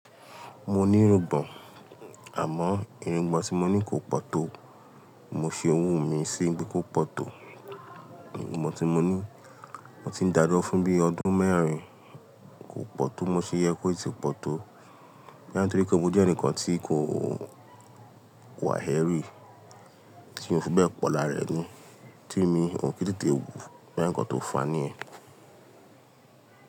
Mo ní irùngbọ̀n, àmọ́ irùngbọ̀n tí mo ní kò pọ̀ tó. Mo ṣe owó mi sí bí kò pọ̀ tó. Irùngbọ̀n tí mo ní mo ti ń dáa lọ́ fún bí ọdún mẹ́rin kò pọ̀ tó. Mo ṣe yẹ kó ti pọ̀ tó, ní àárín torí pé mo jẹ́ ẹnìkan tí kò wà héré. Tí mo fún bẹ́ẹ̀ pọ̀ lára ẹni, tí mi ò kí tètè wù boya nìkan tó fani ẹ.